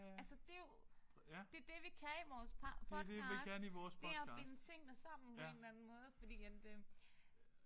Altså det jo det det vi kan i vores podcast. Det er at binde tingene sammen på en eller anden måde fordi at øh